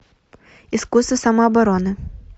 искусство самообороны